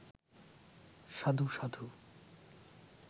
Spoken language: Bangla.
সাধু, সাধু